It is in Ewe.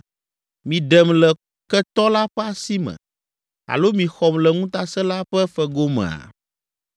miɖem le ketɔ la ƒe asi me alo mixɔm le ŋutasẽla ƒe fegomea?’